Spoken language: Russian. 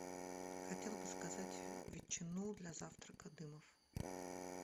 хотела бы заказать ветчину для завтрака дымов